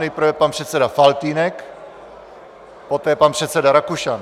Nejprve pan předseda Faltýnek, poté pan předseda Rakušan.